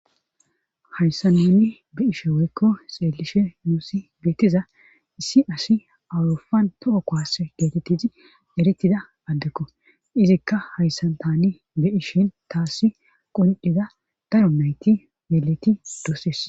Hayssa nani be ishe woykko xeelishe nuusi geettiza issi asi awurufan to7o koase geetettizi erittida addekko izikka hayssan tani be ishin taassi qonciza daro mayti meleti doosees.